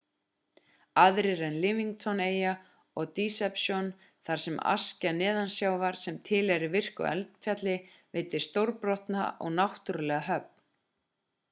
aðrir eru livingston-eyja og deception þar sem askja neðansjávar sem tilheyrir virku eldfjalli veitir stórbrotna og náttúrulega höfn